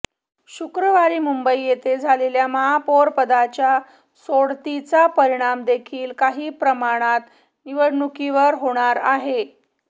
शुक्रवारी मुंबई येथे झालेल्या महापौरपदाच्या सोडतीचा परिणामदेखील काही प्रमाणात निवडणुकीवर होणार आहे